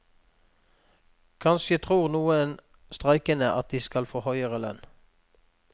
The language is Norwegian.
Kanskje tror noen streikende at de skal få høyere lønn.